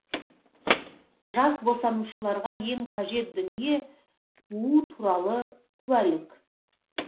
жас босанушыларға ең қажет дүние туу туралы куәлік